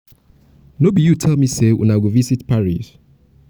no be you tell me say una go visit paris